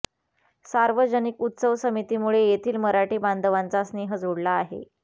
सार्वजनिक उत्सव समितीमुळे येथील मराठी बांधवांचा स्नेह जुळला आहे